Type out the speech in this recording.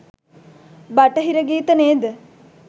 බටහිර ගීත නේද?